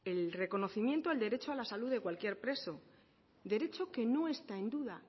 el reconocimiento al derecho a la salud de cualquier preso derecho que no está en duda